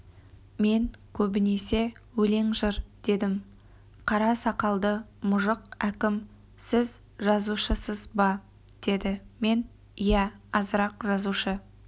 мен көбінесе өлең-жыр дедім қара сақалды мұжық әкім сіз жазушысыз ба деді мен иә азырақ жазушы